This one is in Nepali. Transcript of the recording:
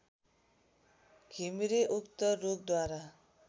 घिमिरे उक्त रोगद्वारा